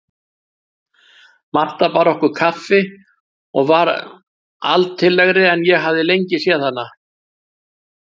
Marta bar okkur kaffi og var altillegri en ég hafði lengi séð hana.